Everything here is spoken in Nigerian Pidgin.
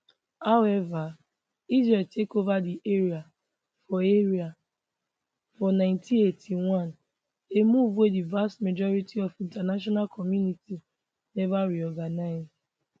however israel take ova di area for area for 1981 a move wey di vast majority of international community neva reorganize